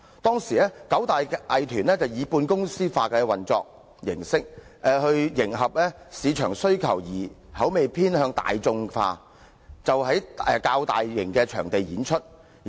當時，九大藝團以半公司化模式運作，為迎合市場需求而口味偏向大眾化，因而在較大型場地演出。